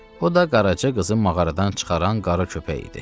O da qaraca qızı mağaradan çıxaran qara köpək idi.